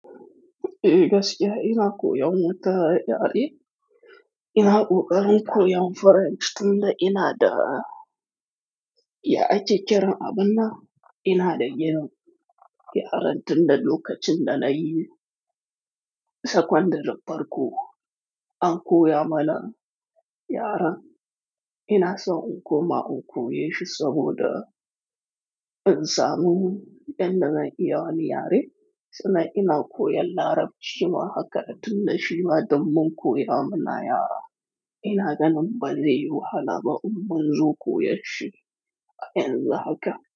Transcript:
Ee gasiya, ina koyan wata yare. Ina ƙoƙarin koyan Faransa tunda ina da ya ake kiran abun nan, ina da yanan yaran tunda lokacin da na yi sakandare farko. An koya mana yaren. Ina son in koma in koyashi saboda in samu yanda zan iya wani yare, sannan ina koyan Larabci ma haka da tun da shi ma, domin koya mana yara. Ina ganin ba zai yi wahala ba in bin zu koyashi yanzu haka.